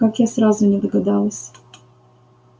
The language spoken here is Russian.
как я сразу не догадалась